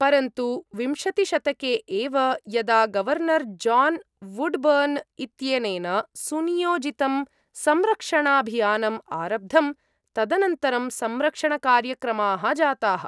परन्तु विंशतिशतके एव, यदा गवर्नर् जान् वुड्बर्न् इत्यनेन सुनियोजितं संरक्षणाभियानम् आरब्धं तदनन्तरं संरक्षणकार्यक्रमाः जाताः।